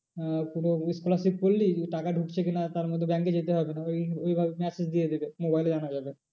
আহ কোনো scholarship পড়লি কিন্তু টাকা ঢুকছে কি না তার মধ্যে bank এ যেতে হবে না ওই, ওইভাবে message দিয়ে দেবে mobile এ জানা যাবে।